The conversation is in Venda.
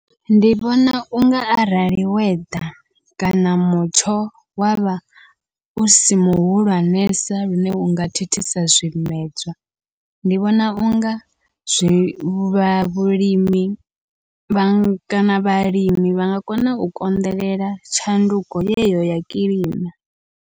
Ndi vhona unga arali weather kana mutsho wavha usi muhulwanesa lune unga thithisa zwimedzwa, ndi vhona unga zwi vha vhulimi vha kana vhalimi vha nga kona u konḓelela tshanduko yeyo ya kilima.